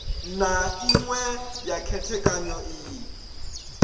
na iṅwe ya khethekanyo iyi